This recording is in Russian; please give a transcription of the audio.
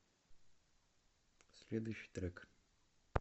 следующий трек